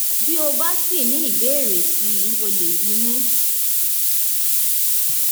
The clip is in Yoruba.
bí o bá sì ní ìbéèrè sí i o lè bí mi